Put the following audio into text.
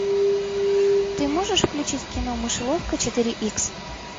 ты можешь включить кино мышеловка четыре икс